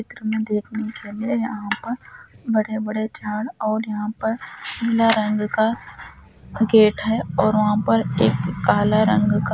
चित्र में देखने के लिए यहाँ पर बड़े बड़े झाड़ और यहाँ पर नीले रंग का गेट है और वहां पर एक काला रंग का--